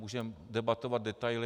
Můžeme debatovat detaily.